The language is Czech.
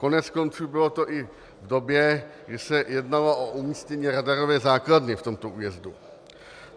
Koneckonců bylo to i v době, kdy se jednalo o umístění radarové základny v tomto újezdu.